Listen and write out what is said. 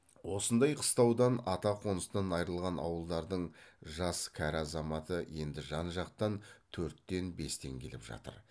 осындай қыстаудан ата қоныстан айрылған ауылдардың жас кәрі азаматы енді жан жақтан төрттен бестен келіп жатыр